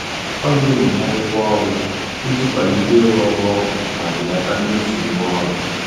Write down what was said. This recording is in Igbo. Ọ na-enyocha akwụkwọ ọrụ iji kwalite ịrụ ọrụ ọkụ ma belata mmefu ume ọrụ.